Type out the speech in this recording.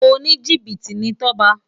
Ónijibiti ni Toba